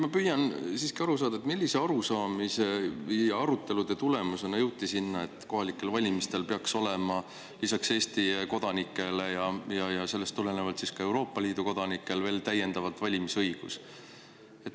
Ma püüan siiski aru saada, millise arusaamise põhjal või milliste arutelude tulemusena jõuti sinna, et kohalikel valimistel peaks olema lisaks Eesti kodanikele ja ka Euroopa Liidu kodanikele veel täiendavalt valimisõigus.